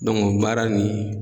baara nin